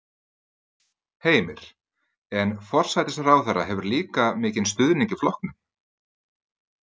Heimir: En forsætisráðherra hefur líka mikinn stuðning í flokknum?